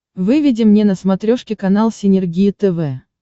выведи мне на смотрешке канал синергия тв